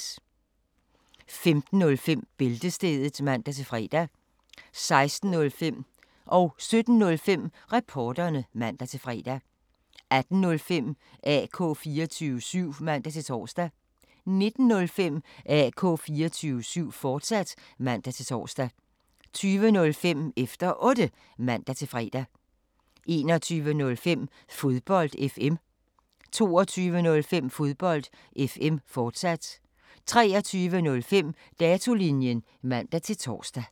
15:05: Bæltestedet (man-fre) 16:05: Reporterne (man-fre) 17:05: Reporterne (man-fre) 18:05: AK 24syv (man-tor) 19:05: AK 24syv, fortsat (man-tor) 20:05: Efter Otte (man-fre) 21:05: Fodbold FM 22:05: Fodbold FM, fortsat 23:05: Datolinjen (man-tor)